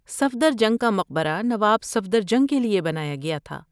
صفدرجنگ کا مقبرہ نواب صفدرجنگ کے لیے بنایا گیا تھا۔